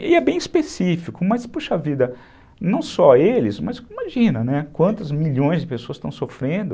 E é bem específico, mas, puxa vida, não só eles, mas imagina quantos milhões de pessoas estão sofrendo